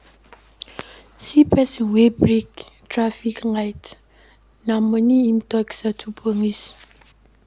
See pesin wey break traffic law, na moni im take settle police.